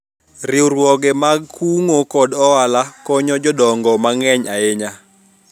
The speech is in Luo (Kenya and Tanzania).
riwruoge mag kungo kod hola konyo jodongo mang'eny ahinya